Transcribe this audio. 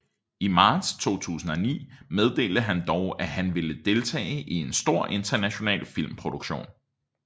I marts 2009 meddelte han dog at han ville deltage i en stor international filmproduktion